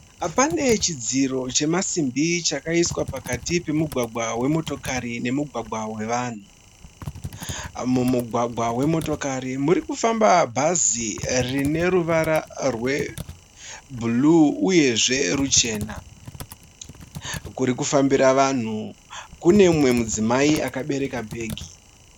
Pane chidziro chemasimbi chakaiswa pakati pomugwaga wemotokari nomugwagwa we vanhu. Mumugwaga wemotikari muri kufamba bhazi rine ruwara rwe bhuruu uye zve ruchena kurikufambira vanhu kune umwe mudzimai akabereka bhegi.